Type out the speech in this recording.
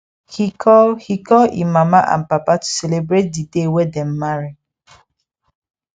he call he call e mama and papa to celebrate the day wey them marry